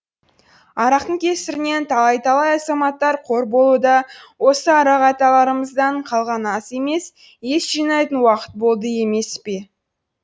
арақтың кесірінен талай талай азаматтар қор болуда осы арақ аталарымыздан қалған ас емес ес жинайтын уақыт болды емес пе